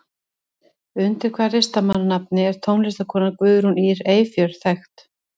Undir hvaða listamannsnafni er tónlistarkonan Guðrún Ýr Eyfjörð þekkt?